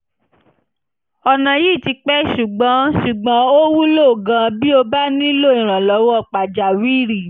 ọ̀nà yìí ti pẹ́ ṣùgbọ́n ṣùgbọ́n ó wúlò gan-an bí o bá nílò ìrànlọ́wọ́ pàjáwìrì